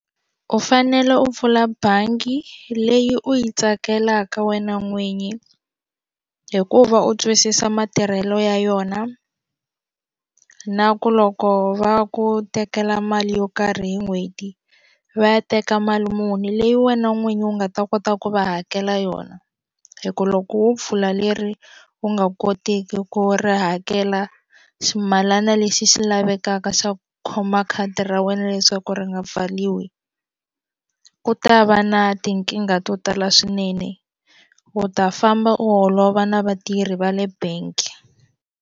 U fanele u pfula bangi leyi u yi tsakelaka wena n'winyi hikuva u twisisa matirhelo ya yona na ku loko va ku tekela mali yo karhi hi n'hweti va ya teka mali muni leyi wena n'winyi u nga ta kota ku va hakela yona hi ku loko wo pfula leri wu nga kotiki ku ri hakela ximalana lexi xi lavekaka swa ku khoma khadi ra wena leswaku ri nga pfaliwi ku ta va na tinkingha to tala swinene u ta famba u holova na vatirhi va le bank.